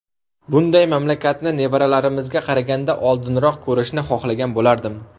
Bunday mamlakatni nevaralarimizga qaraganda oldinroq ko‘rishni xohlagan bo‘lardim.